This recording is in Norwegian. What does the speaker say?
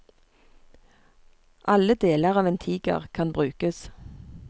Alle deler av en tiger kan brukes.